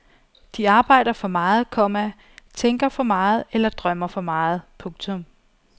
De arbejder for meget, komma tænker for meget eller drømmer for meget. punktum